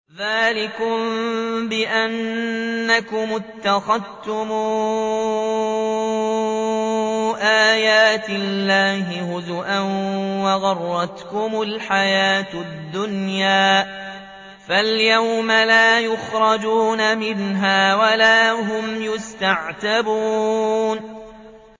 ذَٰلِكُم بِأَنَّكُمُ اتَّخَذْتُمْ آيَاتِ اللَّهِ هُزُوًا وَغَرَّتْكُمُ الْحَيَاةُ الدُّنْيَا ۚ فَالْيَوْمَ لَا يُخْرَجُونَ مِنْهَا وَلَا هُمْ يُسْتَعْتَبُونَ